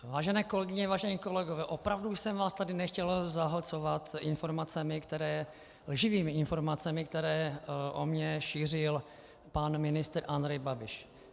Vážené kolegyně, vážení kolegové, opravdu jsem vás tady nechtěl zahlcovat lživými informacemi, které o mně šířil pan ministr Andrej Babiš.